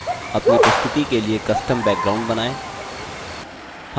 अपनी प्रस्तुति के लिए custom background बनाएँ